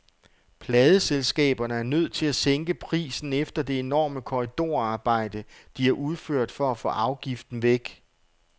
Pladeselskaberne er nødt til at sænke prisen efter det enorme korridorarbejde, de har udført for at få afgiften væk.